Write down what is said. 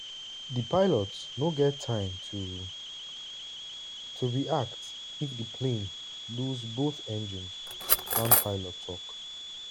"di pilot no get time to to react if di plane loose both engines" one pilot tok.